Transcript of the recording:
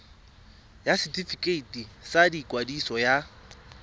ya setefikeiti sa ikwadiso ya